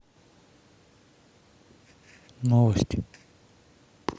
новости